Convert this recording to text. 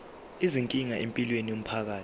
izinkinga empilweni yomphakathi